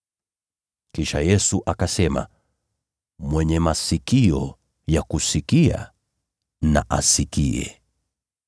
Kisha Yesu akasema, “Mwenye masikio ya kusikia, na asikie.”